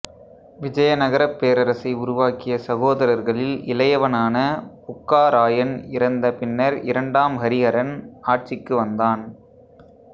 விஜயநகரப் பேரரசை உருவாக்கிய சகோதரர்களில் இளையவனான புக்கா ராயன் இறந்த பின்னர் இரண்டாம் ஹரிஹரன் ஆட்சிக்கு வந்தான்